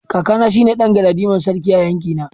Kakana shine dan galadiman sarki a yankina.